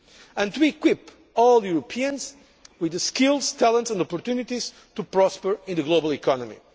and to equip all Europeans with the skills, talents and opportunities to prosper in the global economy.